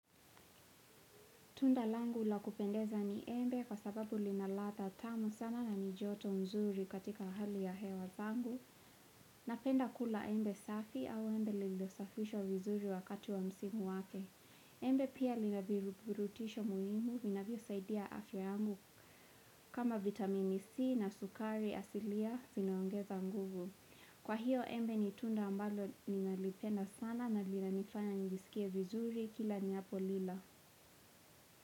Tunda langu la kupendeza ni embe kwa sababu lina ladha tamu sana na ni joto mzuri katika hali ya hewa vangu. Napenda kula embe safi au embe lililosafishwa vizuri wakati wa msimu wake. Embe pia lina virubutisho muhimu vina vyo saidia afya yangu kama vitamini C na sukari asilia vinaongeza nguvu. Kwa hiyo embe ni tunda ambalo ninalipenda sana na linanifanya nilisikie vizuri kila ninapo lila.